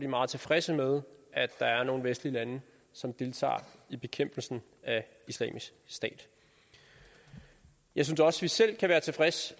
meget tilfredse med at der er nogle vestlige lande som deltager i bekæmpelsen af islamisk stat jeg synes også vi selv kan være tilfredse